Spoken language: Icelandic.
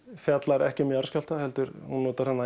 fjallar ekki um jarðskjálfta heldur notar hún